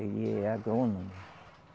Ele é agrônomo.